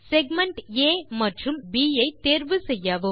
segment A மற்றும் segment B ஐ தேர்வு செய்யவும்